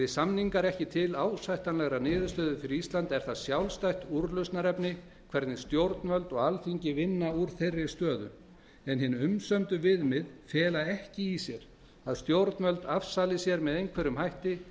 samningar ekki til ásættanlegrar niðurstöðu fyrir ísland er það sjálfstætt úrlausnarefni hvernig stjórnvöld og alþingi vinna úr þeirri stöðu en hin umsömdu viðmið fela ekki í sér að stjórnvöld afsali sér með einhverjum hætti